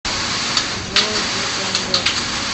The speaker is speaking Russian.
джой блутенгел